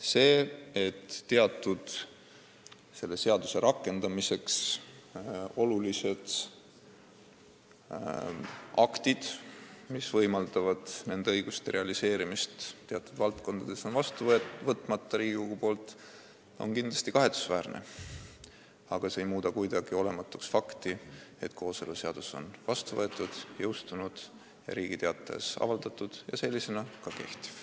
See, et teatud selle seaduse rakendamiseks olulised aktid, mis võimaldavad nende õiguste realiseerimist mõnes valdkonnas, on Riigikogus vastu võtmata, on kindlasti kahetsusväärne, aga see ei muuda kuidagi olematuks fakti, et kooseluseadus on vastu võetud, jõustunud, Riigi Teatajas avaldatud ja sellisena ka kehtiv.